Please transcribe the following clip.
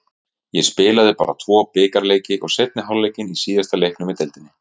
Ég spilaði bara tvo bikarleiki og seinni hálfleikinn í síðasta leiknum í deildinni.